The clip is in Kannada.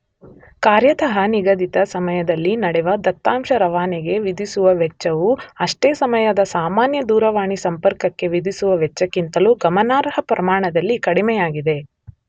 ಕಾರ್ಯತಃ ನಿಗದಿತ ಸಮಯದಲ್ಲಿ ನಡೆವ ದತ್ತಾಂಶ ರವಾನೆಗೆ ವಿಧಿಸುವ ವೆಚ್ಚವು ಅಷ್ಟೇ ಸಮಯದ ಸಾಮಾನ್ಯ ದೂರವಾಣಿ ಸಂಪರ್ಕಕ್ಕೆ ವಿಧಿಸುವ ವೆಚ್ಚಕ್ಕಿಂತಲೂ ಗಮನಾರ್ಹ ಪ್ರಮಾಣದಲ್ಲಿ ಕಡಿಮೆಯಾಗಿದೆ.